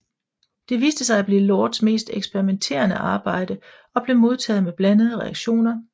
Det viste sig at blive Lords mest eksperimenterende arbejde og blev modtaget med blandede reaktioner